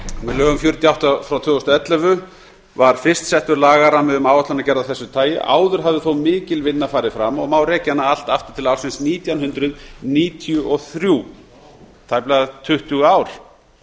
með lögum númer fjörutíu og átta tvö þúsund og ellefu var fyrst settur lagarammi um áætlunargerð af þessu tagi áður hafði þó mikil vinna farið fram og má rekja hana allt aftur til ársins nítján hundruð níutíu og þrjú tæplega tuttugu ár